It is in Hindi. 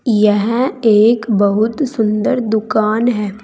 यह एक बहुत सुंदर दुकान है।